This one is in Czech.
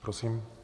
Prosím.